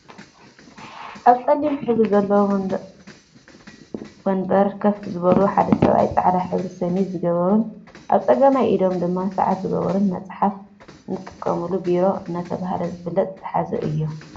ኣብ ፀሊም ሕብሪ ዘለዎ ወንበር ከፍ ዝበሉ ሓደ ሰብኣይ ፃዕዳ ሕብሪ ሸሚዝ ዝገበሩን ኣብ ፀጋማይ ኢዶም ድማ ስዓት ዝገበሩን መፅሐፊ ንጥቀመነሉ ቢሮ እናተባህለ ዝፍለጥ ዝሓዙ እዮም።